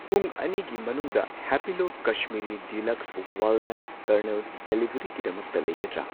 ꯄꯨꯡ ꯑꯅꯤꯒꯤ ꯃꯅꯨꯡꯗ Happilo Kashmiri deluxe walnut kernel ꯗꯦꯂꯤꯕꯔꯤꯒꯤꯗꯃꯛꯇ ꯂꯩꯒꯗ꯭ꯔ